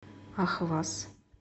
ахваз